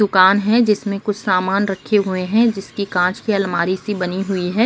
दुकान हैं जिसमे कुछ सामन रखे हुए हैं जिसकी कांच की अलमारी सी बनी हुई है।